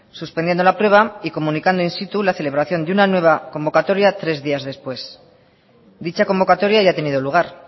suspendiendo la prueba y comunicando in situ la celebración de una nueva convocatoria tres días después dicha convocatoria ya ha tenido lugar